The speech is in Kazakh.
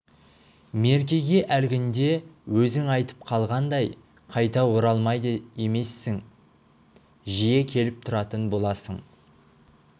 меркеге әлгінде өзің айтып қалғандай қайта оралмайды емессің жиі келіп тұратын боласың